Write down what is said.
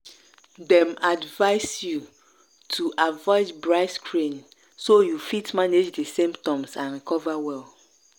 dem advise you to avoid bright screen so you fit manage di symptoms and recover well.